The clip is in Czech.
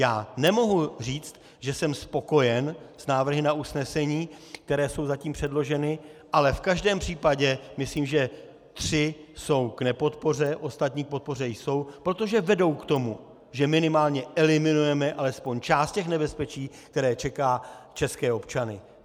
Já nemohu říct, že jsem spokojen s návrhy na usnesení, které jsou zatím předloženy, ale v každém případě myslím, že tři jsou k nepodpoře, ostatní k podpoře jsou, protože vedou k tomu, že minimálně eliminujeme alespoň část toho nebezpečí, které čeká české občany.